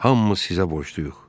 Hamımız sizə borcluyuq."